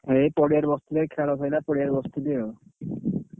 ଏଇ ପଡିଆରେ ବସଥିଲି ଆଉ ଖେଳ ସାରିଲା ଏଇ ପଡିଆରେ ବସଥିଲି ଆଉ।